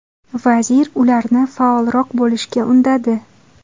Vazir ularni faolroq bo‘lishga undadi.